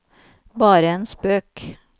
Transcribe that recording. bare en spøk